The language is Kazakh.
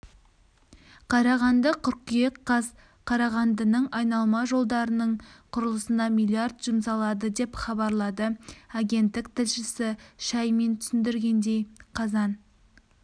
қарағанды қыркүйек қаз қарағандының айналма жолдарының құрылысына млрд жұмсалады деп хабарлады агенттік тілшісі шаймин түсіндіргендей қазан